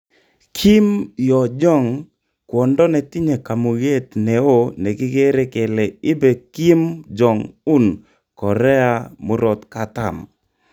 Kim Yo-Jong kwondo netinye kamuget neo nekigere kele ibe kim Jog-un Korea murot katam